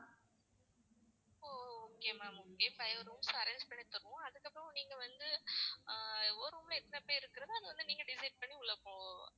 okay ma'am okay five rooms arrange பண்ணி தருவோம். அதுக்கப்புறம் நீங்க வந்து ஆஹ் ஒரு room ல எத்தனை பேர் இருக்கிறது அது வந்து நீங்க decide பண்ணி உள்ள போகணும்.